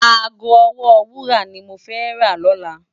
Aágó òwò wúrá ni mó fè rá lòlá